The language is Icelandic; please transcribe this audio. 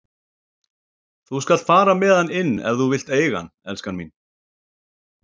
Þú skalt fara með hann inn ef þú vilt eiga hann, elskan mín.